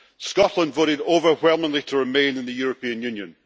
Scotland voted overwhelmingly to remain in the European Union.